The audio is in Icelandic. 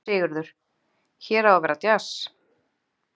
Sigurður: Hér á að vera djass?